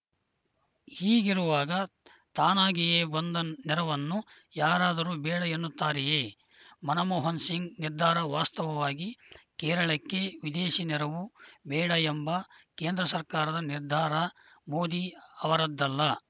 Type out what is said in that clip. ಹೀಗಿರುವಾಗ ತಾನಾಗಿಯೇ ಬಂದ ನೆರವನ್ನು ಯಾರಾದರೂ ಬೇಡ ಎನ್ನುತ್ತಾರೆಯೇ ಮನಮೋಹನ ಸಿಂಗ್‌ ನಿರ್ಧಾರ ವಾಸ್ತವವಾಗಿ ಕೇರಳಕ್ಕೆ ವಿದೇಶಿ ನೆರವು ಬೇಡ ಎಂಬ ಕೇಂದ್ರ ಸರ್ಕಾರದ ನಿರ್ಧಾರ ಮೋದಿ ಅವರದ್ದಲ್ಲ